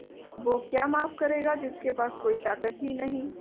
वो क्या माफ करेगा जिसके पास कोई ताकत ही नहीं